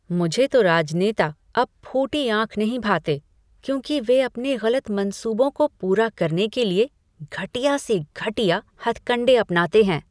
मुझे तो राजनेता अब फूटी आँख नहीं भाते, क्योंकि वे अपने गलत मंसूबों को पूरा करने के लिए घटिया से घटिया हथकंडे अपनाते हैं।